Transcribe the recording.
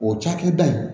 O cakɛda in